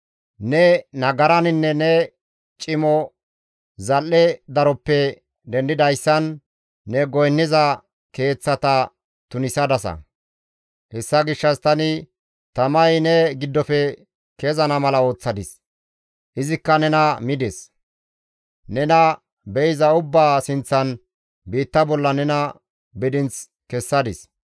Ne nagaraninne ne cimo zal7e daroppe dendidayssan, ne goynniza keeththata tunisadasa. Hessa gishshas tani tamay ne giddofe kezana mala ooththadis; izikka nena mides. Nena be7iza ubbaa sinththan, biitta bolla nena bidinth kessadis.